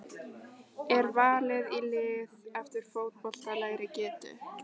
Er valið í lið eftir fótboltalegri getu?